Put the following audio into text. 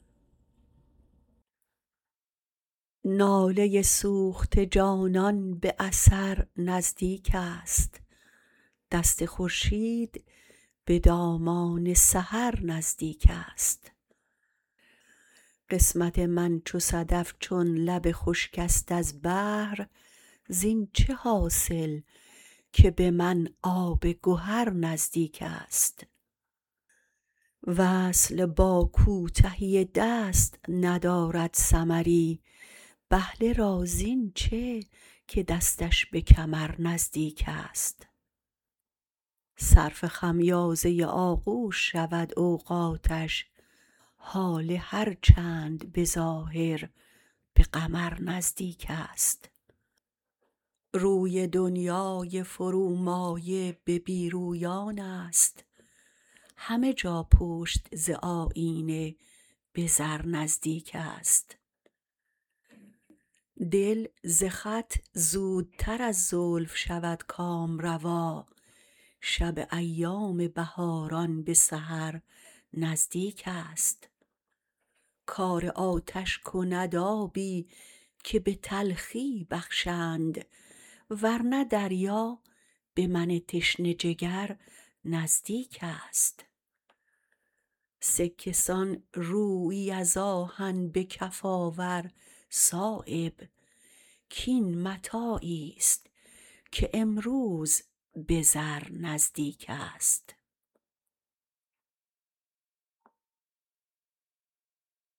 ناله سوخته جانان به اثر نزدیک است دست خورشید به دامان سحر نزدیک است قسمت من چو صدف چون لب خشک است از بحر زین چه حاصل که به من آب گهر نزدیک است وصل با کوتهی دست ندارد ثمری بهله رازین چه که دستش به کمر نزدیک است صرف خمیازه آغوش شود اوقاتش هاله هر چند به ظاهر به قمر نزدیک است روی دنیای فرومایه به بی رویان است همه جا پشت ز آیینه به زر نزدیک است دل ز خط زودتر از زلف شود کامروا شب ایام بهاران به سحر نزدیک است کار آتش کند آبی که به تلخی بخشند ورنه دریا به من تشنه جگر نزدیک است سکه سان رویی از آهن به کف آور صایب کاین متاعی است که امروز به زر نزدیک است